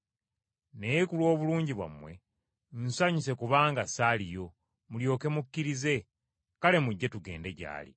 Naye ku lw’obulungi bwammwe, nsanyuse kubanga ssaaliyo, mulyoke mukkirize; kale mujje tugende gy’ali.”